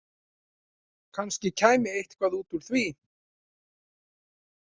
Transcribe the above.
Kannski kæmi eitthvað út úr því.